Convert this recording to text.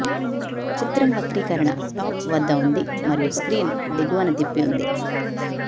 చిత్రం వక్రీకరణ టాప్ వద్ద ఉంది మరియు స్క్రీన్ దిగువన తిప్పి ఉంది